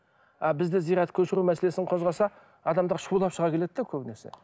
бізде зират көшіру мәселесін қозғаса адамдар шулап шыға келеді де көбінесе